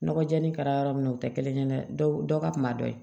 Nɔgɔ jalani kɛra yɔrɔ min na o tɛ kelen ye dɛ dɔ ka kunba dɔ ye